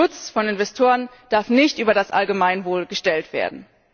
Der Schutz von Investoren darf nicht über das Allgemeinwohl gestellt werden.